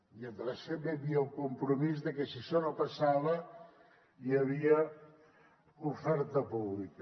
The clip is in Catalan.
i a més també hi havia el compromís que si això no passava hi havia oferta pública